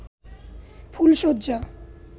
ফুল শয্যা